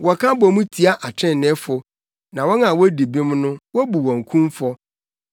Wɔka bɔ mu tia atreneefo na wɔn a wodi bem no, wobu wɔn kumfɔ.